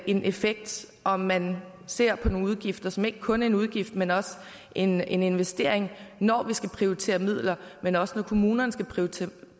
en effekt om man ser på en udgift som ikke kun en udgift men også en en investering når vi skal prioritere midler men også når kommunerne skal prioritere